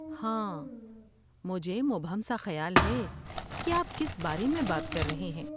ہاں، مجھے مبہم سا خیال ہے کہ آپ کس بارے میں بات کر رہے ہیں۔